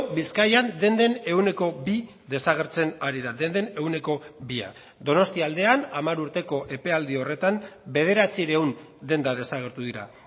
bizkaian denden ehuneko bi desagertzen ari da denden ehuneko bia donostia aldean hamar urteko epealdi horretan bederatziehun denda desagertu dira